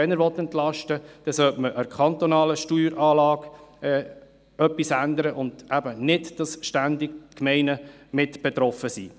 Wenn er entlasten will, sollte man an der kantonalen Steueranlage etwas ändern, sodass nicht ständig die Gemeinden mit betroffen sind.